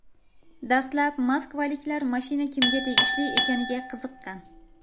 Dastlab moskvaliklar mashina kimga tegishli ekaniga qiziqqan.